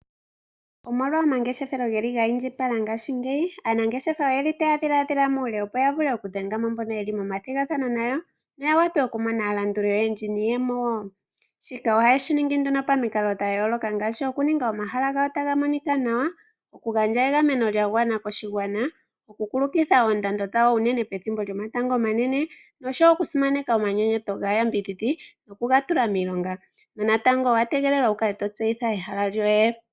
Omolwa omangeshefelo ge li ga indjipala ngaashi ngeyi, aanangeshefa oye li ta ya dhiladhila muule opo ya vule oku dhenga mo mbono ye li momathigathano nayo. Opo ya wape oku mona aalanduli oyendji, niiyemo woo shika, oha ye shi ningi nduno pamikalo dhayooloka ngaashi; oku ninga omahala gawo ga ta ga monikwa nawa, oku gandja egameno lyagwana koshigwana, oku kulukitha oondando dhawo, unene pethimbo lyomatango omanene nosho woo, oku simaneka omanyenyeto gaayambidhidhi noku ga tula miilonga, nonatango owa tegelelwa wu ka le to tseyitha ehala lyoye.